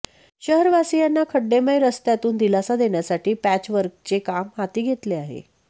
शहरवासियांना खड्डेमय रस्त्यांतून दिलासा देण्यासाठी पॅचवर्कचे काम हाती घेतले आहे